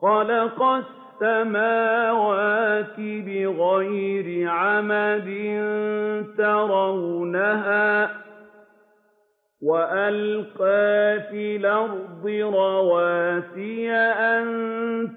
خَلَقَ السَّمَاوَاتِ بِغَيْرِ عَمَدٍ تَرَوْنَهَا ۖ وَأَلْقَىٰ فِي الْأَرْضِ رَوَاسِيَ أَن